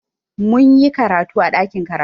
Mun yi karatu a ɗakin karatu.